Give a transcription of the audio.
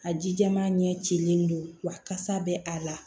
A ji jɛman ɲɛ cilen don wa kasa bɛ a la